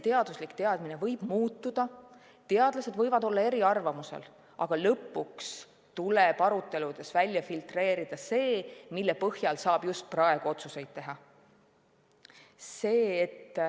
Teaduslik teadmine võib muutuda ja teadlased võivad olla eriarvamusel, aga lõpuks tuleb aruteludes välja filtreerida see, mille põhjal saab just praegu otsuseid teha.